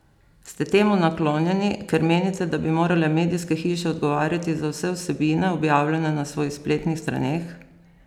Ste temu naklonjeni, ker menite, da bi morale medijske hiše odgovarjati za vse vsebine, objavljene na svojih spletnih straneh?